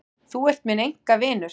Þú ert minn einkavinur.